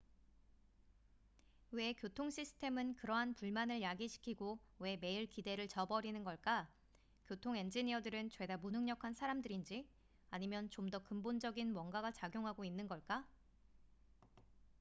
왜 교통 시스템은 그러한 불만을 야기시키고 왜 매일 기대를 저버리는 걸까 교통 엔지니어들은 죄다 무능력한 사람들인지 아니면 좀 더 근본적인 뭔가가 작용하고 있는 걸까